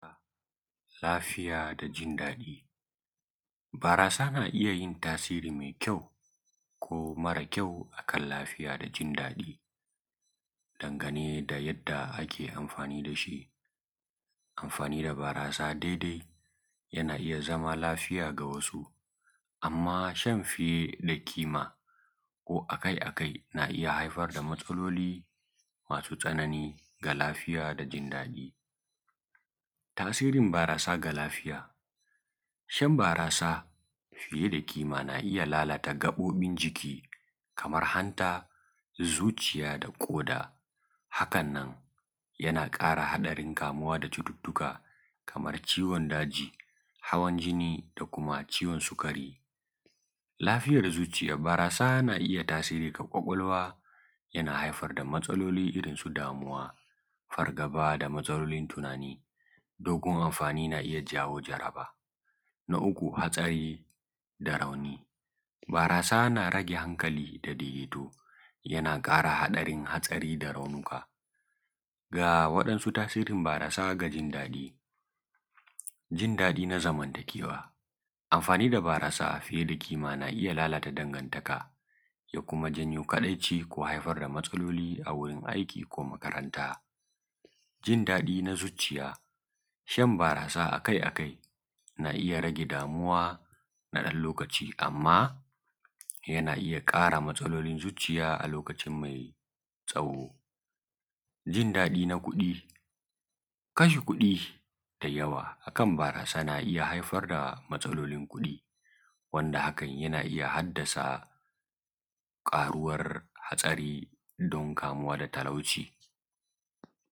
. Lafiya da jin dadi barasa na iyya yin tasiri mai kyau ko mara kyau akan lafiya da jin dadiˋ dan gane da yadda ake amfaniˋ dashi amfaniˋ da barasa daidai yana iyya zama lafiya ga wasu amma shan fiye ˋda kima ko akai akai na iyya haifar da matsaloliˋ masu tsanani ga lafiya da jin dadiˋ. Ta sirin barasa ga lafiya shan barasa na iyya lalata gabobin jiˋkin Kaman hanta zuciya da koda. Hakannan yana kara hadarin kamuwa da cututtuka Kaman ciwon dajiˋ hawan jiniˋ da kuma ciwon sukari lafiyar zuciya baras barasa na iyya tasiri ga kwakwalwa yana iyya kawo matsaloli irrin su damuwa fargaba da matsalolin tunaniˋ dan kuma amfaniˋ yana iyya jawo jaraba na uku hatsari da rauni barasa na rage hankaliˋ da daidai to yana kara hadarin hatsari da raunuka. Wadansu tasirin barasa gajin dadi: jin dadi na zamanta kewa amfani da barasa fiye da kima na iʤʤa lalata dangan taka ʤa kuma janyo kadai ci da kuma matsaloli a gurin aiki ko kuma makaranta, jin dadiˋ na zucuya shan barasa akai akai na iyya rage damuwa na dan lokaci amma yana iyya kara matsalolin zuciya a lokaciˋ mai tsawoˋ jin dadiˋ na kudi kashe kudi da yawa akan barasa na iyya haifar da matsalolin kudi wanda hakan yana hadda sa karuwan hatsari da karuwan talauci.